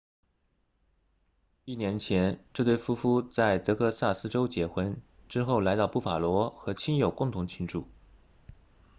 一年前这对夫妇在德克萨斯州结婚之后来到布法罗和亲友共同庆祝